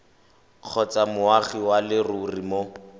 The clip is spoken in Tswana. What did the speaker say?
kgotsa moagi wa leruri mo